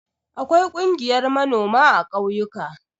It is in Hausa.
Akwai ƙungiyar manoma a ƙauyuka.